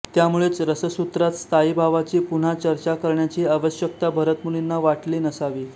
त्यामुळेच रससूत्रात स्थायीभावाची पुन्हा चर्चा करण्याची आवश्यकता भरतमुनींना वाटली नसावी